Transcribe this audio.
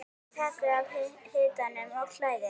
Takið af hitanum og kælið.